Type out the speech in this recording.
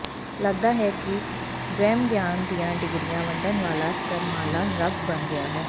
ਲਗਦਾ ਹੈ ਕਿ ਬ੍ਰਹਮ ਗਿਆਨ ਦੀਆਂ ਡਿਗਰੀਆਂ ਵੰਡਣ ਵਾਲਾ ਤਰਮਾਲਾ ਰੱਬ ਬਣ ਗਿਆ ਹੈ